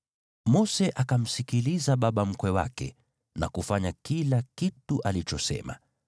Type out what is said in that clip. Mose akamsikiliza baba mkwe wake na kufanya kila kitu alichosema.